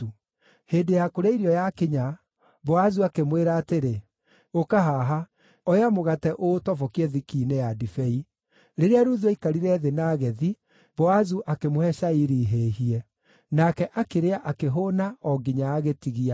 Hĩndĩ ya kũrĩa irio yakinya, Boazu akĩmwĩra atĩrĩ, “Ũka haha. Oya mũgate ũũtobokie thiki-inĩ ya ndibei.” Rĩrĩa Ruthu aikarire thĩ na agethi, Boazu akĩmũhe cairi hĩhie. Nake akĩrĩa akĩhũũna, o nginya agĩtigia.